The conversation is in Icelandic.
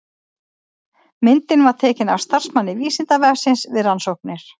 Myndin var tekin af starfsmanni Vísindavefsins við rannsóknir.